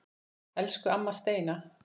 Elsku amma Steina.